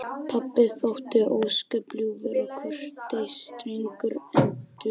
Pabbi þótti ósköp ljúfur og kurteis drengur en dulur.